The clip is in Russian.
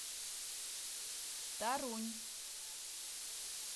торунь